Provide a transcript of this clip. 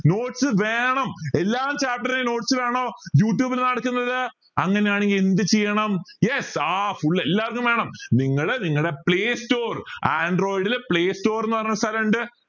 notes വേണം എല്ലാ chapter ലെയും notes വേണോ youtube ൽ നടക്കുന്നത് അങ്ങനെയാണെങ്കിൽ എന്ത് ചെയ്യണം yes ആ full എല്ലാർക്കും വേണം നിങ്ങൾ നിങ്ങടെ play store android ൽ play store ന്ന് പറഞ്ഞൊരു സ്ഥലം ഇണ്ട്